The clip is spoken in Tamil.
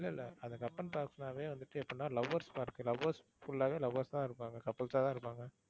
இல்ல இல்ல அந்த கப்பன் பார்க்னாவே வந்துட்டு எப்படின்னா lovers park உ lovers full ஆவே lovers தான் இருப்பாங்க. couples ஆ தான் இருப்பாங்க.